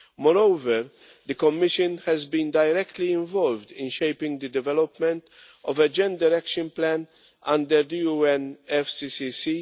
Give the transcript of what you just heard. Moreover, the Commission has been directly involved in shaping the development of a gender action plan under the UNFCCC.